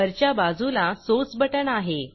वरच्या बाजूला sourceसोर्स बटण आहे